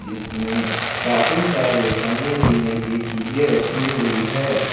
इसमें काफी सारे खाने पीने की चीजे रखी हुई है।